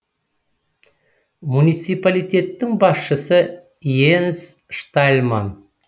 муниципалитеттің басшысы йенс штальман